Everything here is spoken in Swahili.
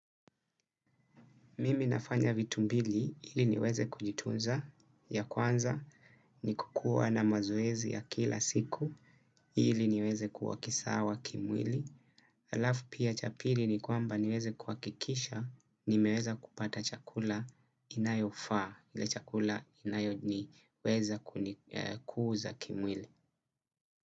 Mimi nafanya vitu mbili, hili niweze kujitunza ya kwanza, ni kukua na mazoezi ya kila siku, hili niweze kuwa kisawa kimwili. Alaf pia cha pili ni kwamba niweze kuakikisha, nimeweza kupata chakula inayofaa, ile chakula inayo ni weza kuuza kimwili.